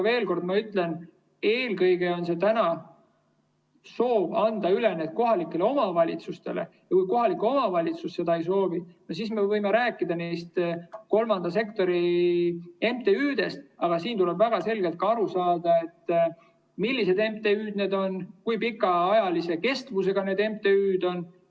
Veel kord ma ütlen, et eelkõige on soov anda need üle kohalikule omavalitsusele ja kui kohalik omavalitsus seda ei soovi, siis me võime rääkida kolmanda sektori MTÜ‑dest, aga tuleb väga selgelt aru saada, millised MTÜ‑d need on, kui pikaajalise kestusega need MTÜ‑d on.